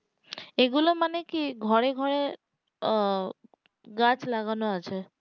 এগুলো মানে কি ঘরে ঘরে আহ গাছ লাগানো আছে